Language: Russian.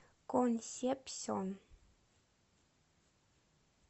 консепсьон